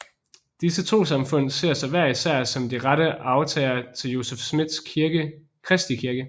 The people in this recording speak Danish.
Disse trossamfund ser sig hver især som de rette arvtagere til Joseph Smiths kristi kirke